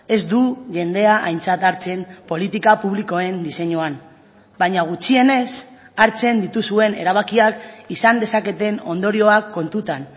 ez du jendea aintzat hartzen politika publikoen diseinuan baina gutxienez hartzen dituzuen erabakiak izan dezaketen ondorioak kontutan